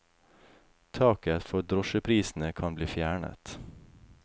Taket for drosjeprisen kan bli fjernet.